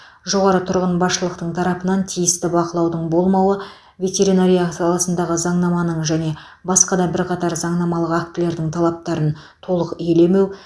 жоғары тұрған басшылықтың тарапынан тиісті бақылаудың болмауы ветеринария саласындағы заңнаманың және басқа да бірқатар заңнамалық актілердің талаптарын толық елемеу